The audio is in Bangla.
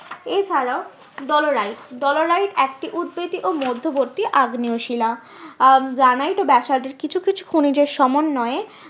এছাড়াও ডলোরাইট ডলোরাইট একটি উৎবেদী ও মধ্যবর্তী আগ্নেয় শিলা আহ গ্রানাইট ও ব্যাসল্ট এর কিছু কিছু খনিজ সমন্বয়ে